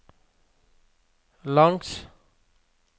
langs